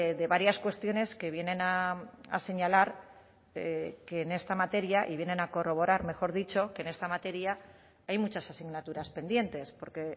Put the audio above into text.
de varias cuestiones que vienen a señalar que en esta materia y vienen a corroborar mejor dicho que en esta materia hay muchas asignaturas pendientes porque